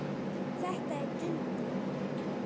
Þetta er Dundi!